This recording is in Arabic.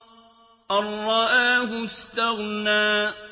أَن رَّآهُ اسْتَغْنَىٰ